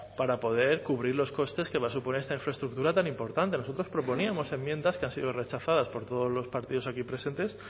para poder cubrir los costes que va a suponer esta infraestructura tan importante nosotros proponíamos enmiendas que han sido rechazadas por todos los partidos aquí presentes